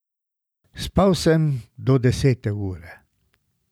Spal sem do desete ure.